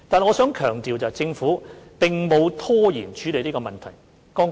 我必須強調，政府並沒有拖延處理這個問題。